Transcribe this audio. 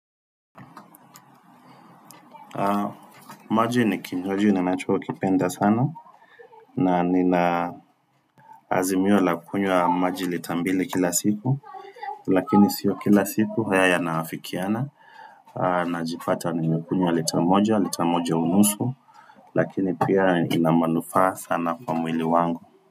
Maji ni kinywaji ninachokipenda sana na ninaazimiwa la kunywa maji litambili kila siku Lakini sio kila siku haya ya naafikiana Najipata nimekunyewa litamoja litamoja unusu Lakini pia inamanufaa sana kwa mwili wangu.